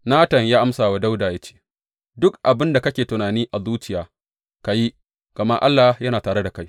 Natan ya amsa wa Dawuda ya ce, Duk abin da kake tunani a zuciya, ka yi, gama Allah yana tare da kai.